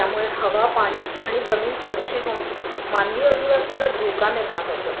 त्यामुळे हवा, पाणी आणि जमीन प्रदूषित होऊन मानवी अधिवासाला धोका निर्माण होतोय.